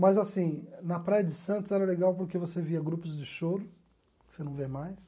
Mas, assim, na Praia de Santos era legal porque você via grupos de choro, que você não vê mais.